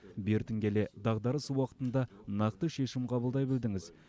бертін келе дағдарыс уақытында нақты шешім қабылдай білдіңіз